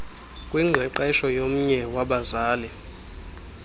kwingqeqesho yomnye wabazali